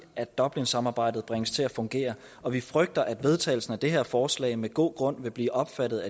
at dublinsamarbejdet bringes til at fungere og vi frygter at vedtagelsen af det her forslag af med god grund vil blive opfattet